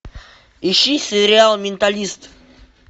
ищи сериал менталист